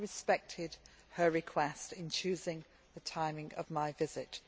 I respected her request in choosing the timing of my visit.